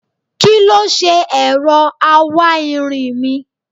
Kí ló ṣe ẹ̀rọ awáirin mi?